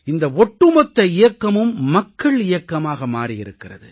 இந்த ஒட்டுமொத்த இயக்கமும் மக்கள் இயக்கமாக மாறி இருக்கிறது